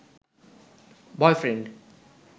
boyfriend